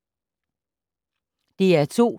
DR2